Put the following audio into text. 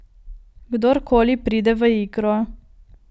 Kdor koli pride v igro.